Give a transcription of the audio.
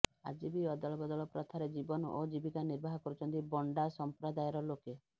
ଆଜି ବି ଅଦଳ ବଦଳ ପ୍ରଥାରେ ଜୀବନ ଓ ଜୀବିକା ନିର୍ବାହ କରୁଛନ୍ତି ବଣ୍ଡା ସଂପ୍ରଦାୟର ଲୋକେ